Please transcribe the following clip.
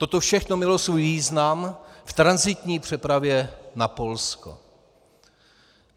Toto všechno mělo svůj význam v tranzitní přepravě na Polsko.